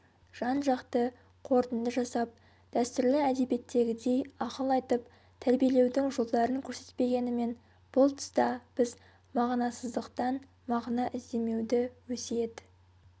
жан-жақты қорытынды жасап дәстүрлі әдебиеттегідей ақыл айтып тәрбиелеудің жолдарын көрсетпегенімен бұл тұста біз мағынасыздықтан мағына іздемеуді өсиет